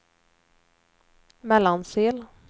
Mellansel